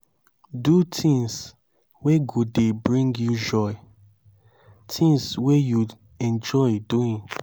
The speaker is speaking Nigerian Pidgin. do things wey go dey bring you joy things wey you enjoy doing